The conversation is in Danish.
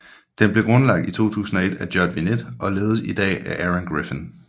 Den blev grundlagt i 2001 af Judd Vinet og ledes i dag af Aaron Griffin